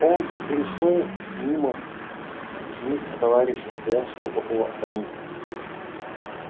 он пришёл мимо них к товарищу стоявшему около саней